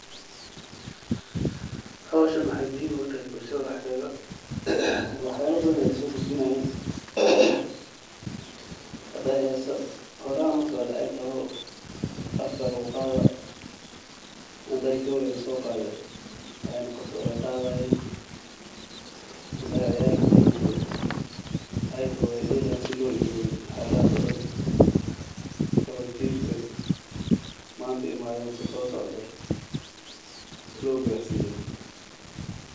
Howshan wexey muhhim ogutahay bulshada dexdeda waxyalo badan ayey sogudbinayan hadey heso horan loqado ey toho oo afka luguqada hadey gadey lasoqade ay noqoto wey qadayin hadey ciyar ladeli jire ey toho wey delayin sii an loilawin waxayalahas oo daan oo jilka manta sosocdo llo garsiyo.